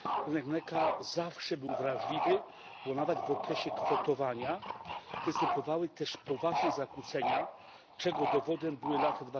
Rynek mleka zawsze był wrażliwy, bo nawet w okresie kwotowania występowały też poważne zakłócenia, czego dowodem były lata